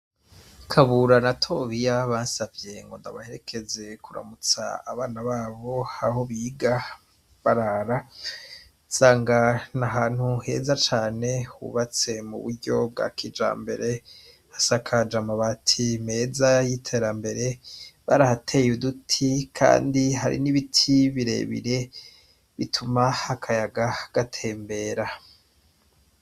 Kabura na tobiya bansavye ngo ndabaherekeze kuramutsa abana babo aho biga barara zangana ahantu heza cane hubatse mu buryo bwa kija mbere hasakaja ama bati meza y'iterambere barahateye uduti, kandi ihari n'ibiti birebire bituma hakayaga gatembera.